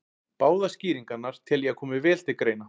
Báðar skýringarnar tel ég að komi vel til greina.